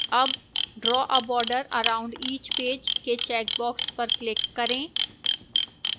अब draw a border around each page के checkbox पर click करें